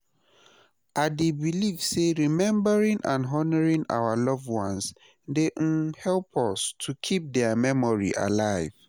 I dey believe say remembering and honouring our loved ones dey um help us to keep dia memory alive.